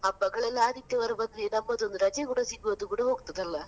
ಹಬ್ಬಗಳೆಲ್ಲ ಆದಿತ್ಯವಾರ ಬಂದ್ರೆ ನಮ್ಮದೊಂದು ರಜೆ ಕೂಡ ಸಿಗೋದು ಕೂಡ ಹೋಗ್ತದಲ್ಲ?